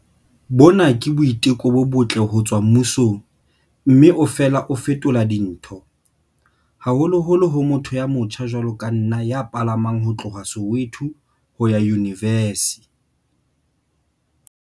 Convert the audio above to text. Bona ke boiteko bo botle ho tswa mmusong mme o fela o fetola dintho, haholoholo ho motho ya motjha jwalo ka nna ya palamang ho tloha Soweto ho ya yunivesi.